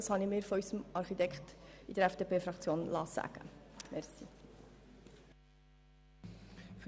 Das habe ich mir von unserem Architekten in der EVP-Fraktion sagen lassen.